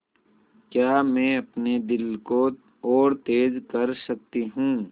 क्या मैं अपने दिल को और तेज़ कर सकती हूँ